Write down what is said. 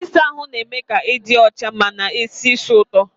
Ịsa ahụ na-eme ka ị dị ọcha ma na esi ísì ụtọ.